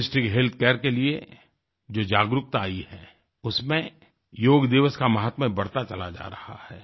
Holistic health care के लिए जो जागरूकता आई है उसमें योग दिवस का माहात्म्य बढ़ता चला जा रहा है